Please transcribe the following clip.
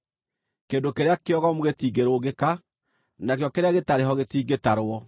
Kĩndũ kĩrĩa kĩogomu gĩtingĩrũngĩka; nakĩo kĩrĩa gĩtarĩ ho gĩtingĩtarwo.